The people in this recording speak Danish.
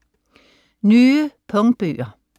Nye punktbøger